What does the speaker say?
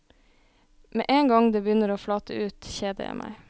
Med én gang det begynner å flate ut, kjeder jeg meg.